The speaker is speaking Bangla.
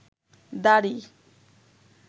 দাড়ি